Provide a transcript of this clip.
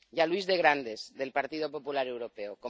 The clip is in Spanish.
y a Luis de Grandes, del Partido Popular Europeo.